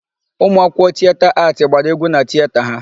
Ụmụ akwụkwọ Tieta Aatị gbara égwú na Tieta ha.